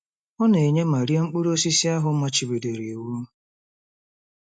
Ọ na-enye ma rie mkpụrụ osisi ahụ a machibidoro iwu.